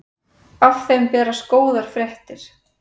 Af þeim berast góðar fréttir.